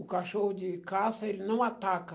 O cachorro de caça, ele não ataca.